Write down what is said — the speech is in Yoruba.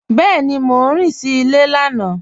Bẹẹni, Mọ rìn sí ilẹ̀ lànà.